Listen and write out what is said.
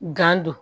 Gan don